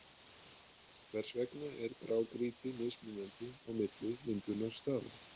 Hvers vegna er grágrýti mismunandi á milli myndunarstaða?